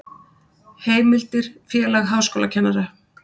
Heimildir Félag háskólakennara.